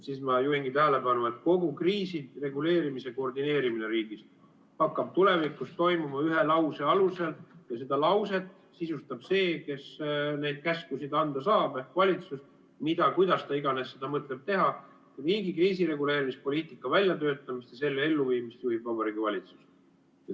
Ma juhingi tähelepanu, et kogu kriisireguleerimise koordineerimine riigis hakkab tulevikus toimuma ühe lause alusel ja seda lauset sisustab see, kes neid käskusid anda saab, ehk valitsus, mida ja kuidas ta iganes seda mõtleb teha, kui riigi kriisireguleerimispoliitika väljatöötamist ja selle elluviimist juhib Vabariigi Valitsus.